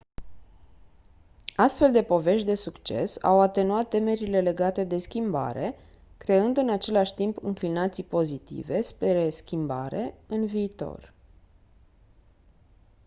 astfel de povești de succes au atenuat temerile legate de schimbare creând în același timp înclinații pozitive spre schimbare în viitor